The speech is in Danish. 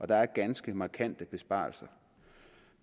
der er ganske markante besparelser